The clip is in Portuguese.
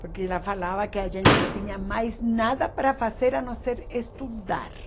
Porque ela falava que a gente não tinha mais nada para fazer a não ser estudar.